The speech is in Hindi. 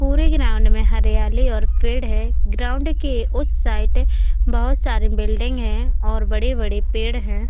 पूरे ग्राउंड में हरियाली और पेड़ हैं। ग्राउंड के उस साइट बहुत सारी बिल्डिंग हैं और बड़े-बड़े पेड़ हैं।